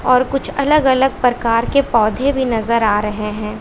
और कुछ अलग अलग प्रकार के पौधे भी नजर आ रहे हैं।